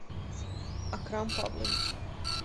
акрам павлович